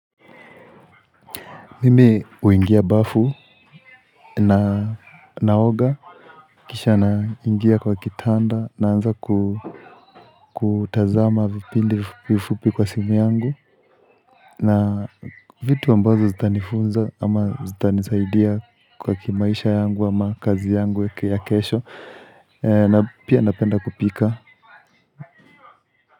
Mimi huingia bafu na naoga, kisha naingia kwa kitanda naanza kutazama vipindi vifupi kwa simu yangu na vitu ambavyo zitanifunza ama zitanisaidia kwa kimaisha yangu ama kazi yangu ya kesho na pia napenda kupika.